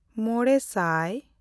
ᱢᱚᱬᱮᱼᱥᱟᱭ